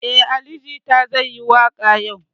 Eh, Ali jita zai yi waka yau.